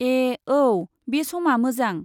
ए औ, बे समा मोजां।